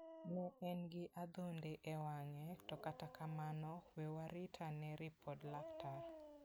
Ne en gi adhonde e wang'e to kata kamano we warit ane ripod laktar.